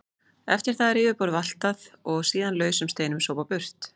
Eftir það er yfirborðið valtað og síðan lausum steinum sópað burt.